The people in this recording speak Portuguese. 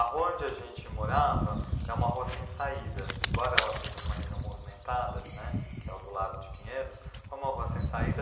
A rua onde a gente morava é uma rua sem saída, embora ela seja numa região movimentada, né, que é o do Largo de Pinheiros, foi uma rua sem saída.